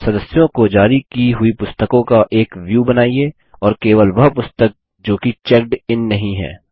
सदस्यों को जारी की हुई पुस्तकों का एक व्यू बनाइए और केवल वह पुस्तक जोकि चेक्ड इन नहीं है